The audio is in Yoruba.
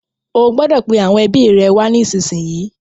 O gbọdọ̀ pe àwọn ẹbi rẹ wá nísìnyí.